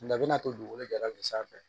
Nka a bɛna to dugukolo jalan de sanfɛ